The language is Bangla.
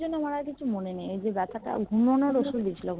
কিছুক্ষনের জন্যে আমার কিছু মনে নেই সেই বেথা ঘুমোনোর ওষুধ